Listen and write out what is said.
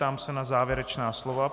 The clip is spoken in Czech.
Ptám se na závěrečná slova.